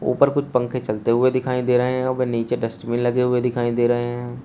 ऊपर कुछ पंख चलते हुए दिखाई दे रहे हैं और नीचे डस्टबिन में लगे हुए दिखाई दे रहे हैं।